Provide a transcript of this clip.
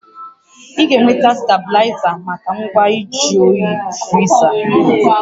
Ị ga-enweta stabilaịza maka ngwa nju oyi friza